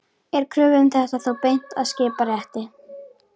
Er kröfu um þetta þá beint að skiptarétti.